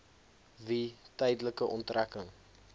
wie tydelike onttrekking